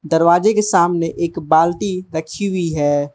दरवाजे के सामने एक बाल्टी रखी हुई है।